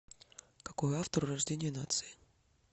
какой автор у рождение нации